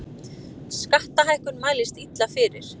Skattahækkun mælist illa fyrir